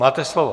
Máte slovo.